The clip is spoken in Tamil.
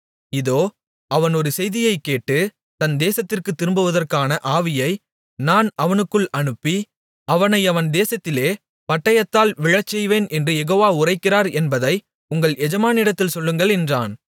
இதோ அவன் ஒரு செய்தியைக் கேட்டு தன் தேசத்திற்குத் திரும்புவதற்கான ஆவியை நான் அவனுக்குள் அனுப்பி அவனை அவன் தேசத்திலே பட்டயத்தால் விழச்செய்வேன் என்று யெகோவா உரைக்கிறார் என்பதை உங்கள் எஜமானிடத்தில் சொல்லுங்கள் என்றான்